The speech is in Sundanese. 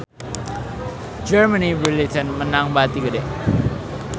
Germany Brilliant meunang bati gede